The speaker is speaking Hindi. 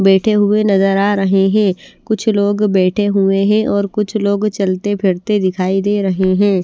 बैठे हुए नज़र आ रहे हैं कुछ लोग बैठे हुए हैं और कुछ लोग चलते फिरते दिखाई दे रहे हैं।